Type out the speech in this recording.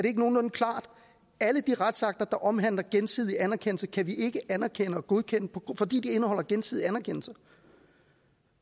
ikke nogenlunde klart alle de retsakter der omhandler gensidig anerkendelse kan vi ikke anerkende og godkende fordi de indeholder gensidig anerkendelse